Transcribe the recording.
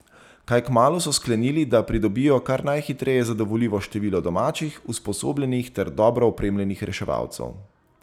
Kaj kmalu so sklenili, da pridobijo kar najhitreje zadovoljivo število domačih, usposobljenih ter dobro opremljenih reševalcev.